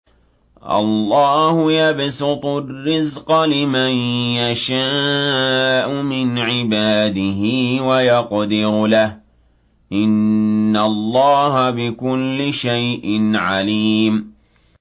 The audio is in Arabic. اللَّهُ يَبْسُطُ الرِّزْقَ لِمَن يَشَاءُ مِنْ عِبَادِهِ وَيَقْدِرُ لَهُ ۚ إِنَّ اللَّهَ بِكُلِّ شَيْءٍ عَلِيمٌ